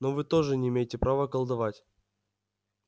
но вы тоже не имеете права колдовать